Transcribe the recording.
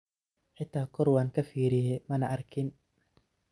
Xita kor wankafiriye mana arkin.